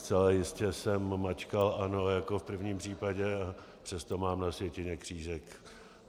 Zcela jistě jsem mačkal "ano" jako v prvním případě, přesto mám na sjetině křížek.